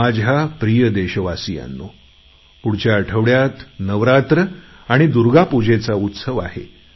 माझ्या प्रिय देशवासियांनो पुढच्या आठवड्यात नवरात्र आणि दुर्गा पूजेचा उत्सव आहे